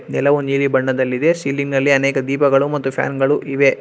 ನೆಲವು ನೀಲಿ ಬಣ್ಣದಲ್ಲಿದೆ ಸೀಲಿಂಗ್ ನಲ್ಲಿ ಅನೇಕ ದೀಪಗಳು ಮತ್ತು ಫ್ಯಾನ್ ಗಳು ಇವೆ.